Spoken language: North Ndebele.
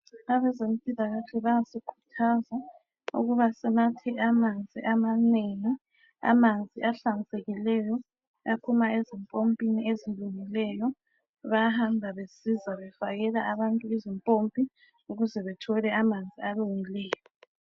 Abezempilakahle bayasikhuthaza ukuba sinathe amanzi amanengi amanzi ahlanzekileyo aphuma ezimpompini ezilungileyo bayahamba besiza befakela abantu izimpompi ukuze bethole amanzi alungileyo.